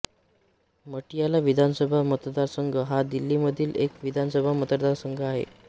मटियाला विधानसभा मतदारसंघ हा दिल्लीमधील एक विधानसभा मतदारसंघ आहे